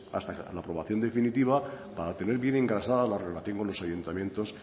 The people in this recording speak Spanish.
hasta la aprobación definitiva para tener bien encauzada la relación con los ayuntamientos